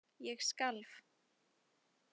Ég skalf.